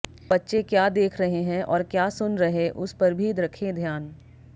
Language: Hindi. बच्चे क्या देख रहे हैं और क्या सुन रहे उस पर भी रखें ध्यान